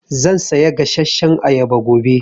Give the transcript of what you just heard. Zan saya gasashshan ayaba gobe.